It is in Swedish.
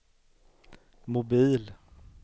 mobil